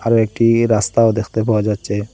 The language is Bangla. আরও একটি রাস্তাও দেখতে পাওয়া যাচ্ছে।